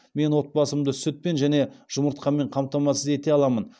мен отбасымды сүтпен және жұмыртқамен қамтамасыз ете аламын